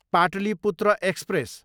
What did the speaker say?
Pataliputra express